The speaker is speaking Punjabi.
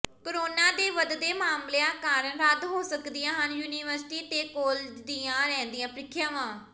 ਕੋਰੋਨਾ ਦੇ ਵਧਦੇ ਮਾਮਲਿਆਂ ਕਾਰਨ ਰੱਦ ਹੋ ਸਕਦੀਆਂ ਹਨ ਯੂਨੀਵਰਸਿਟੀ ਤੇ ਕਾਲਜਾਂ ਦੀਆਂ ਰਹਿੰਦੀਆਂ ਪ੍ਰੀਖਿਆਵਾਂ